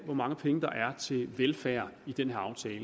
hvor mange penge der er til velfærd i den her aftale